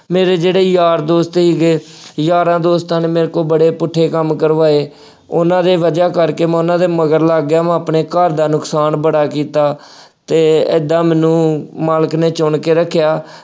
ਮੇਰੇ ਜਿਹੜੇ ਯਾਰ ਦੋਸਤ ਸੀਗੇ, ਯਾਰਾਂ ਦੋਸਤਾਂ ਨੇ ਮੇਰੇ ਕੋਲ ਬੜੇ ਪੁੱਠੇ ਕੰਮ ਕਰਵਾਏ। ਉੇਹਨਾ ਦੇ ਵਜ਼੍ਹਾ ਕਰਕੇ ਮੈਂ ਉਹਨਾ ਦੇ ਮਗਰ ਲੱਗ ਗਿਆ, ਮੈਂ ਆਪਣੇ ਘਰ ਦਾ ਨੁਕਸਾਨ ਬੜਾ ਕੀਤਾ ਅਤੇ ਏਦਾਂ ਮੈਂਨੂੰ ਮਾਲਕ ਨੇ ਚੁਣ ਕੇ ਰੱਖਿਆ।